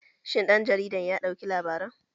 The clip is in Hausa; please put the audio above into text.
Shin ɗan jaridar ya ɗauki labaran?